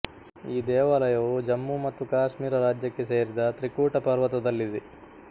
ಈ ದೇವಾಲಯವು ಜಮ್ಮು ಮತ್ತು ಕಾಶ್ಮೀರ ರಾಜ್ಯಕ್ಕೆ ಸೇರಿದತ್ರಿಕೂಟ ಪರ್ವತದಲ್ಲಿದೆ